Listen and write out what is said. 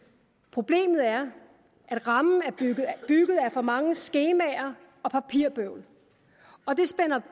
problemet er at rammen er bygget af for mange skemaer og papirbøvl og det spænder